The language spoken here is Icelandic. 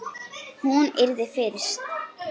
Það er hún.